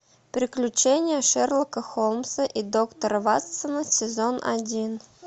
приключения шерлока холмса и доктора ватсона сезон один